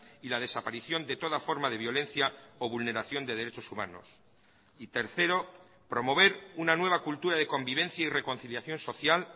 y la desaparición de toda forma de violencia o vulneración de derechos humanos y tercero promover una nueva cultura de convivencia y reconciliación social